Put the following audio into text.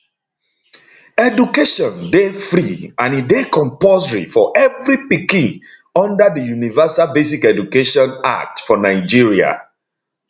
education dey free and e dey compulsory for evri pikin under di universal basic education act for nigeria